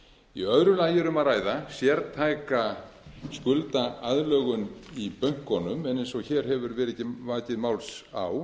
í öðru lagi er um að ræða sértæka skuldaaðlögun í bönkunum en eins og hér hefur verið vakið máls á